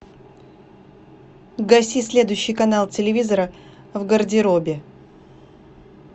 гаси следующий канал телевизора в гардеробе